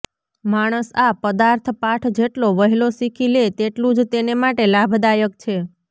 માણસ આ પદાર્થપાઠ જેટલો વહેલો શીખી લે તેટલું જ તેને માટે લાભદાયક છે